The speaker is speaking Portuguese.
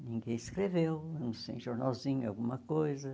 Ninguém escreveu, não sei, jornalzinho, alguma coisa.